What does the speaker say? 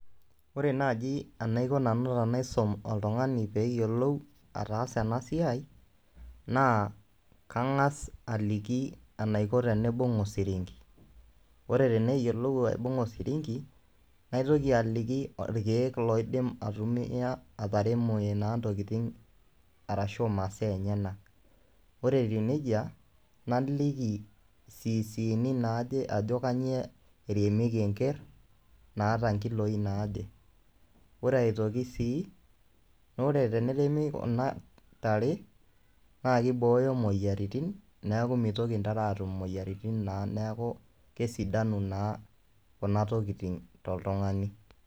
Ore naaji enaiko nanu tenaisom oltung'ani peeyolou ataasa ena siai naa kang'asa aliki enaiko teniibung' osirinki. Ore teneyiolou aibung'a osirinki, naitoki aliki irkeek loidim aitumia ataremore naa ntokitin arashu masaa enyenak. Ore etiu neija naliki siisiini naaje ajo kanyo eremieki enker naata nkiloi naaje. Ore aitoki sii naa ore teneremi kuna tare naake ibooyo moyiaritin, neeku mitoki ntare aatum moyiaritin naa. Neeku kesidanu naa kuna tokitin toltung'ani.